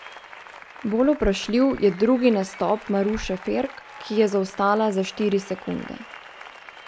Bolj vprašljiv je drugi nastop Maruše Ferk, ki je zaostala za štiri sekunde.